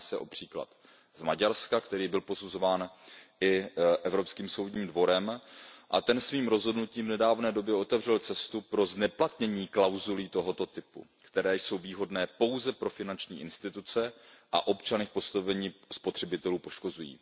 Jedná se o příklad z Maďarska, který byl posuzován i Evropským soudním dvorem, a ten svým rozhodnutím v nedávné době otevřel cestu pro zneplatnění klauzulí tohoto typu, které jsou výhodné pouze pro finanční instituce a občany v postavení spotřebitelů poškozují.